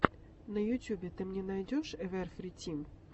на ютюбе ты мне найдешь эвэрфри тим